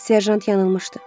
Serjant yanılmışdı.